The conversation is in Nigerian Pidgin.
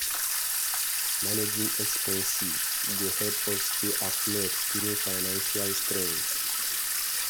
Managing expenses well go help us stay afloat during financial strain.